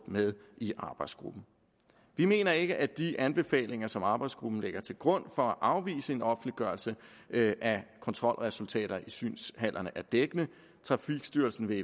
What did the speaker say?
med i arbejdsgruppen vi mener ikke at de anbefalinger som arbejdsgruppen lægger til grund for at afvise en offentliggørelse af kontrolresultater i synshaller er dækkende trafikstyrelsen vil